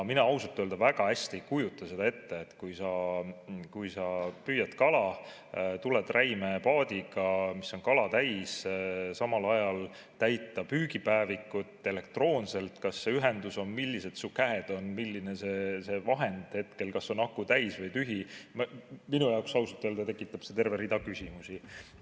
Mina ausalt öelda väga hästi ei kujuta seda ette, kui sa püüad kala, tuled räimepaadiga, mis on kala täis, kuidas samal ajal täita püügipäevikut elektroonselt, kas sul ühendus on, millised su käed on, milline see vahend hetkel on, kas aku on täis või tühi – minu jaoks tekitab see ausalt öeldes terve rea küsimusi.